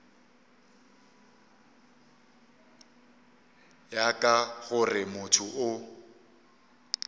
ya ka gore motho o